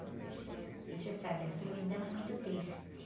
E você sabe, a solidão é muito triste.